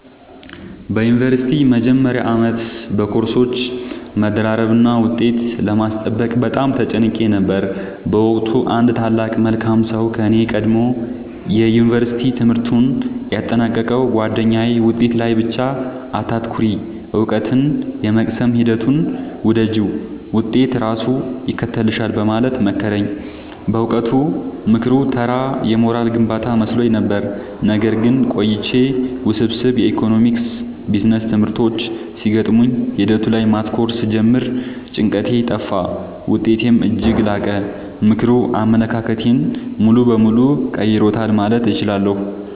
በዩኒቨርሲቲ መጀመሪያ ዓመት በኮርሶች መደራረብና ውጤት ለማስጠበቅ በጣም ተጨንቄ ነበር። በወቅቱ አንድ ታላቅ መልካም ሰው ከኔ ቀድሞ የዩንቨርስቲ ትምህርቱን ያጠናቀቀው ጉአደኛዬ «ውጤት ላይ ብቻ አታተኩሪ: እውቀትን የመቅሰም ሂደቱን ውደጂው፣ ውጤት ራሱ ይከተልሻል» በማለት መከረኝ። በወቅቱ ምክሩ ተራ የሞራል ግንባታ መስሎኝ ነበር። ነገር ግን ቆይቼ ውስብስብ የኢኮኖሚክስና ቢዝነስ ትምህርቶች ሲገጥሙኝ ሂደቱ ላይ ማተኮር ስጀምር ጭንቀቴ ጠፋ: ውጤቴም እጅግ ላቀ። ምክሩ አመለካከቴን ሙሉ በሙሉ ቀይሮታል ማለት እችላለሁ።